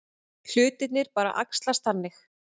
Hlutirnir bara æxlast þannig.